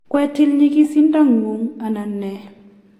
kwetil nyigisindo ngung anan nee